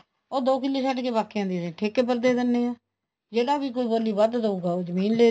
ਉਹ ਦੋ ਕਿੱਲੇ ਛੱਡਕੇ ਬਾਕੀਆਂ ਦੀ ਠੇਕੇ ਪਰ ਦੇ ਦਿੰਨੇ ਆ ਜਿਹੜਾ ਵੀ ਕੋਈ ਬੋਲੀ ਵੱਧ ਦਉਗਾ ਉਹ ਜ਼ਮੀਨ